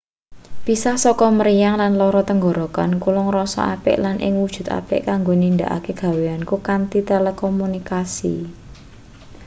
pisah saka mriyang lan lara tenggorokan kula ngrasa apik lan ing wujud apik kanggo nindakake gaweanku kanthi telekomunikasi